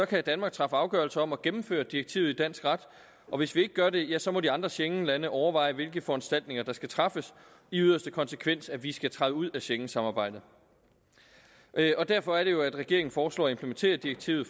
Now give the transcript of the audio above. kan danmark træffe afgørelse om at gennemføre direktivet i dansk ret og hvis vi ikke gør det ja så må de andre schengenlande overveje hvilke foranstaltninger der skal træffes i yderste konsekvens at vi skal træde ud af schengensamarbejdet derfor er det jo at regeringen foreslår at implementere direktivet